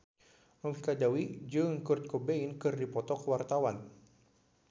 Novita Dewi jeung Kurt Cobain keur dipoto ku wartawan